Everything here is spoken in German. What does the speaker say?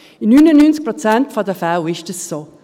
In 99 Prozent der Fälle ist es so.